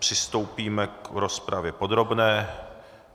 Přistoupíme k rozpravě podrobné.